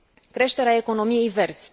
creșterea economiei verzi.